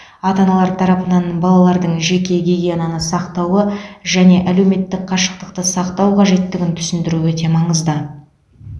ата аналар тарапынан балалардың жеке гигиенаны сақтауы және әлеуметтік қашықтықты сақтау қажеттігін түсіндіру өте маңызды